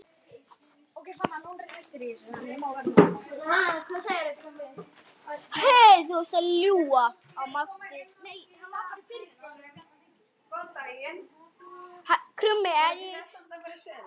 Arnar minn.